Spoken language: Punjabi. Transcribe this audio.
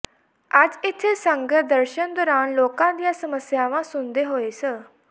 ਅੱਜ ਇੱਥੇ ਸੰਗਤ ਦਰਸ਼ਨ ਦੌਰਾਨ ਲੋਕਾਂ ਦੀਆਂ ਸਮੱਸਿਆਵਾਂ ਸੁਣਦੇ ਹੋਏ ਸ